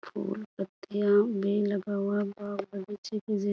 फूल-पत्तियाँ भी लगा हुआ है। बहुत बड़ी --